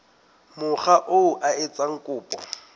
mokga oo a etsang kopo